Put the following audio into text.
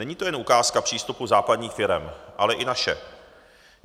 Není to jen ukázka přístupu západních firem, ale i naše.